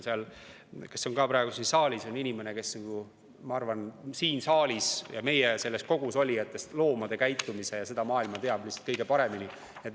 Tiit, kes on ka praegu siin saalis, on inimene, kes minu arvates siin saalis ja meie kogus olijatest loomade käitumist ja seda maailma kõige paremini teab.